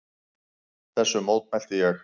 Þessu mótmælti ég.